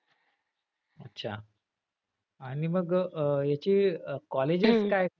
अच्छा आणि मग अह याची colleges काय?